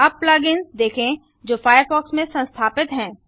अब plug ins देखें जो फायरफॉक्स में संस्थापित हैं